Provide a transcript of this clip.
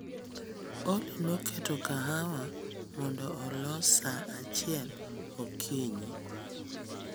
Olly noketo kahawa mondo olos saa achiel okinyi